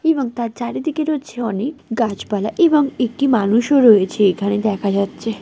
এবং তার চারিদিকে অনেক গাছপালা এবং একটি মানুষও রয়েছে এখানে দেখা যাচ্ছে।